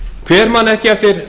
hver man ekki eftir